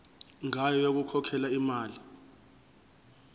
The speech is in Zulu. ngayo yokukhokhela imali